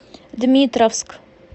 дмитровск